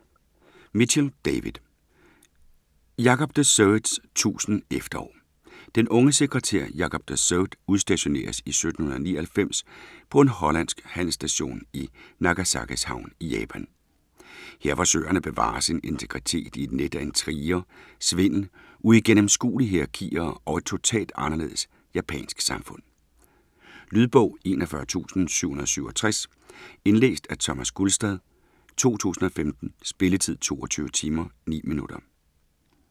Mitchell, David: Jacob de Zoets tusind efterår Den unge sekretær Jacob de Zoet udstationeres i 1799 på en hollandsk handelsstation i Nagasakis havn i Japan. Her forsøger han at bevare sin integritet i et net af intriger, svindel, uigennemskuelige hierakier og et totalt anderledes japansk samfund. Lydbog 41767 Indlæst af Thomas Gulstad, 2015. Spilletid: 22 timer, 9 minutter.